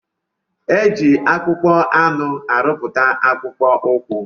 Eji akpụkpọ anụ arụputa akpụkpọ ukwu.